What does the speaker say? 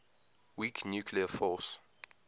weak nuclear force